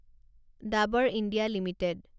Dabur India limited